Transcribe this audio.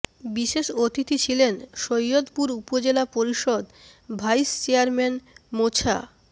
বিশেষ অতিথি ছিলেন সৈয়দপুর উপজেলা পরিষদ ভাইস চেয়ারম্যান মোছা